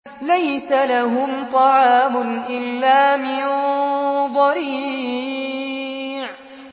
لَّيْسَ لَهُمْ طَعَامٌ إِلَّا مِن ضَرِيعٍ